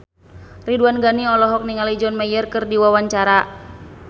Ridwan Ghani olohok ningali John Mayer keur diwawancara